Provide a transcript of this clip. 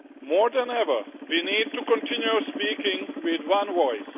More than ever, we need to continue speaking with one voice.